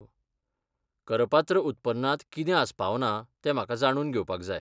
करपात्र उत्पन्नांत कितें आस्पावना तें म्हाका जाणून घेवपाक जाय.